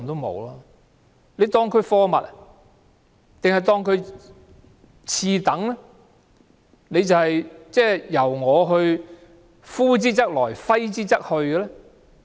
還是視他們為次等，任由政府呼之則來，揮之則去？